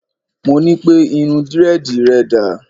Mo ní pẹ́: irun Dírẹ́dìì rẹ dà?